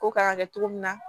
Ko kan ka kɛ cogo min na